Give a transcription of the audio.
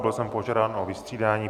Byl jsem požádán o vystřídání.